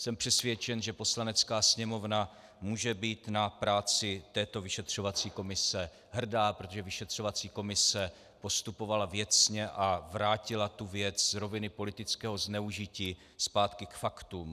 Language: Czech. Jsem přesvědčen, že Poslanecká sněmovna může být na práci této vyšetřovací komise hrdá, protože vyšetřovací komise postupovala věcně a vrátila tu věc z roviny politického zneužití zpátky k faktům.